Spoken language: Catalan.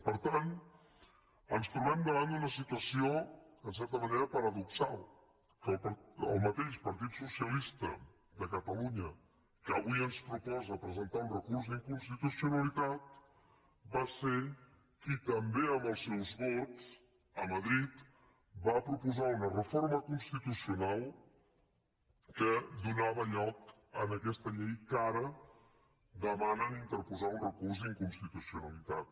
per tant ens trobem davant d’una situació en certa manera paradoxal que el mateix partit socialista de catalunya que avui ens proposa presentar un recurs d’inconstitucionalitat va ser qui també amb els seus vots a madrid va proposar una reforma constitucional que donava lloc a aquesta llei contra la qual ara demanen interposar un recurs d’inconstitucionalitat